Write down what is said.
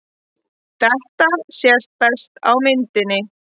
Þetta sést best á myndinni.